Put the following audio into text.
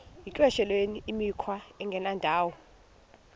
yityesheleni imikhwa engendawo